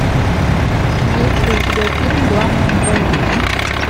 есть ли у тебя фильм главное не бояться